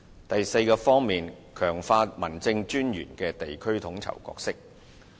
第四，強化民政事務專員的地區統籌角色。